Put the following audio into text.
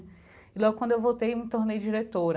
E logo quando eu voltei, me tornei diretora.